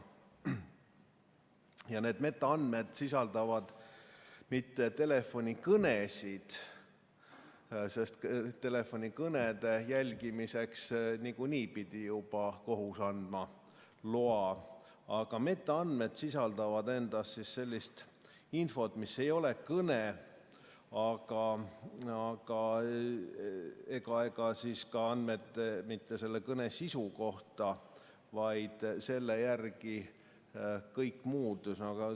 Ja need metaandmed ei sisalda mitte telefonikõnesid, sest telefonikõnede jälgimiseks pidi kohus juba nagunii andma loa, aga metaandmed sisaldavad endas sellist infot, mis ei ole ei kõne ega ka andmed selle kõne sisu kohta, vaid kõik muud.